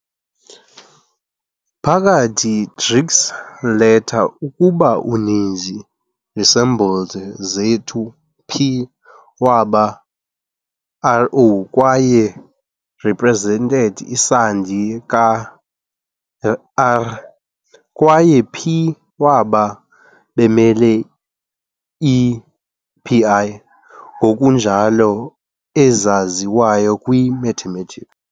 Phakathi greeks leta ukuba uninzi resembled zethu p waba "rô" kwaye represented isandi ka - "r", kwaye p waba bemelwe i "pi", ngokunjalo ezaziwayo kwi - Mathematics.